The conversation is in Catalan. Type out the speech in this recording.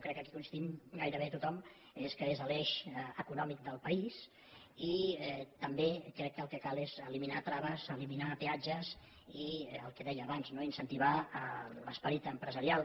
crec que coincidim gairebé amb tothom que és l’eix econòmic del país i també crec que el que cal és eliminar traves eliminar peatges i el que deia abans no incentivar l’esperit empresarial